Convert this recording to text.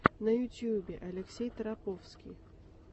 на ютьюбе алексей тараповский